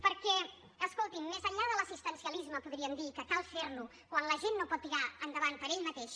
perquè escoltin més enllà de l’assistencialisme podríem dir que cal fer lo quan la gent no pot tirar endavant per ella mateixa